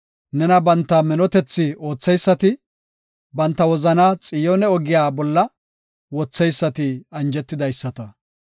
Nena banta minotethi ootheysati, banta wozanaa Xiyoone ogiya bolla, wotheysati anjetidaysata.